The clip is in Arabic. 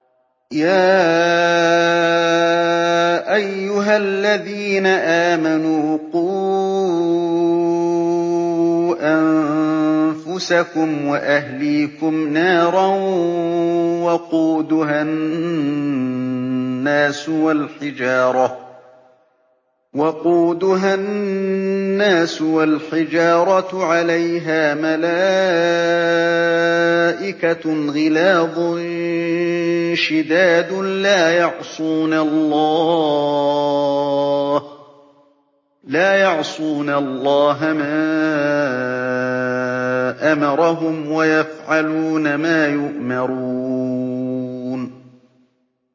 يَا أَيُّهَا الَّذِينَ آمَنُوا قُوا أَنفُسَكُمْ وَأَهْلِيكُمْ نَارًا وَقُودُهَا النَّاسُ وَالْحِجَارَةُ عَلَيْهَا مَلَائِكَةٌ غِلَاظٌ شِدَادٌ لَّا يَعْصُونَ اللَّهَ مَا أَمَرَهُمْ وَيَفْعَلُونَ مَا يُؤْمَرُونَ